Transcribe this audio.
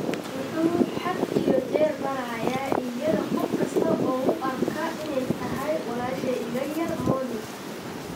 Wuxuu had iyo jeer barayaa iyada qof kasta oo u arka inay tahay 'walaashay iga yar Molly'.